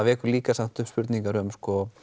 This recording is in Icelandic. vekur líka upp spurningar um